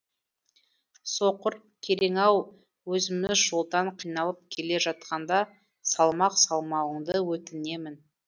соқыр керең ау өзіміз жолдан қиналып келе жатқанда салмақ салмауыңды өтінемін